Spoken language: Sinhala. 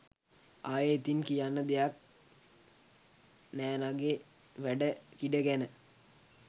ආයෙ ඉතින් කියන්න දෙයක් නෑනෙගේ වැඩ කිඩ ගැන.